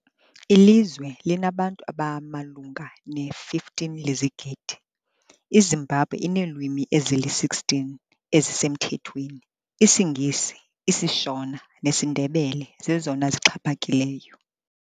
Ilizwe elinabantu abamalunga ne-15 lezigidi, iZimbabwe ineelwimi ezili-16 ezisemthethweni, isiNgesi, isiShona nesiNdebele zezona zixhaphakileyo.